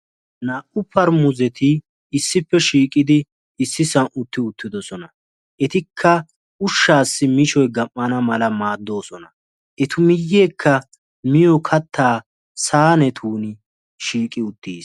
Naa'u paaramuseti issippe shiqqidi issisan uttidosona. Etika ushshasi miishshoy gam'ana mala maaddosona. Eta miiyeka miiyo katta sahinetun shiqqi uttiis.